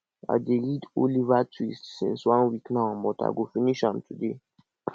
i dey read oliver twist since one week now but i go finish am today